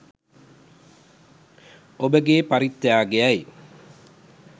ඔබගේ පරිත්‍යාගයයි.